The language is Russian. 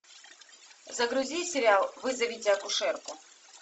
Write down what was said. загрузи сериал вызовите акушерку